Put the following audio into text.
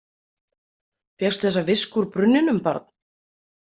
Fékkstu þessa visku úr brunninum, barn?